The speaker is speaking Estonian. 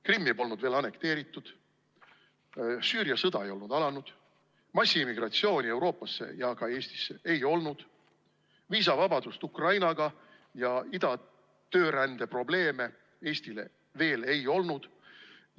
Krimmi polnud veel annekteeritud, Süüria sõda ei olnud alanud, massiimmigratsiooni Euroopasse ja ka Eestisse ei olnud, viisavabadust Ukrainaga ja ida töörände probleeme Eestis veel ei olnud.